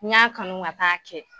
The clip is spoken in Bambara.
N y'a kanu ka taa'a kɛ.